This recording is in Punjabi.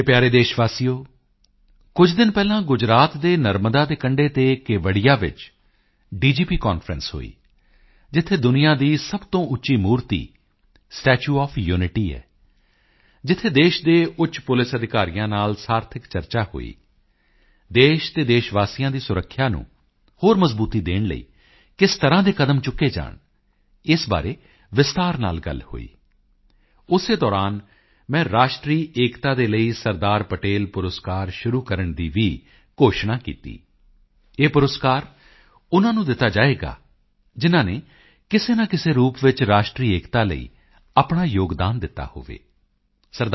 ਮੇਰੇ ਪਿਆਰੇ ਦੇਸ਼ ਵਾਸੀਓ ਕੁਝ ਦਿਨ ਪਹਿਲਾਂ ਗੁਜਰਾਤ ਦੇ ਨਰਮਦਾ ਦੇ ਕੰਢੇ ਤੇ ਕੇਵੜੀਆ ਵਿੱਚ ਡੀਜੀਪੀ ਕਾਨਫਰੰਸ ਹੋਈ ਜਿੱਥੇ ਦੁਨੀਆ ਦੀ ਸਭ ਤੋਂ ਉੱਚੀ ਮੂਰਤੀ ਸਟੈਚੂ ਓਐਫ ਯੂਨਿਟੀ ਹੈ ਜਿੱਥੇ ਦੇਸ਼ ਦੇ ਉੱਚ ਪੁਲਿਸ ਅਧਿਕਾਰੀਆਂ ਨਾਲ ਸਾਰਥਕ ਚਰਚਾ ਹੋਈ ਦੇਸ਼ ਅਤੇ ਦੇਸ਼ ਵਾਸੀਆਂ ਦੀ ਸੁਰੱਖਿਆ ਨੂੰ ਹੋਰ ਮਜ਼ਬੂਤੀ ਦੇਣ ਲਈ ਕਿਸ ਤਰ੍ਹਾਂ ਦੇ ਕਦਮ ਚੁੱਕੇ ਜਾਣ ਇਸ ਬਾਰੇ ਵਿਸਤਾਰ ਨਾਲ ਗੱਲ ਹੋਈ ਉਸੇ ਦੌਰਾਨ ਮੈਂ ਰਾਸ਼ਟਰੀ ਏਕਤਾ ਦੇ ਲਈ ਸਰਦਾਰ ਪਟੇਲ ਪੁਰਸਕਾਰ ਸ਼ੁਰੂ ਕਰਨ ਦੀ ਵੀ ਘੋਸ਼ਣਾ ਕੀਤੀ ਇਹ ਪੁਰਸਕਾਰ ਉਨ੍ਹਾਂ ਨੂੰ ਦਿੱਤਾ ਜਾਵੇਗਾ ਜਿਨ੍ਹਾਂ ਨੇ ਕਿਸੇ ਨਾ ਕਿਸੇ ਰੂਪ ਵਿੱਚ ਰਾਸ਼ਟਰੀ ਏਕਤਾ ਲਈ ਆਪਣਾ ਯੋਗਦਾਨ ਦਿੱਤਾ ਹੋਵੇ ਸ